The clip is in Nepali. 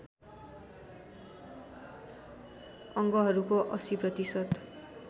अङ्गहरूको ८० प्रतिशत